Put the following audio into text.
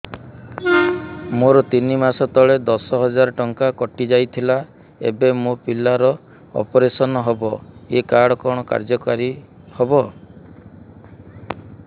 ମୋର ତିନି ମାସ ତଳେ ଦଶ ହଜାର ଟଙ୍କା କଟି ଯାଇଥିଲା ଏବେ ମୋ ପିଲା ର ଅପେରସନ ହବ ଏ କାର୍ଡ କଣ କାର୍ଯ୍ୟ କାରି ହବ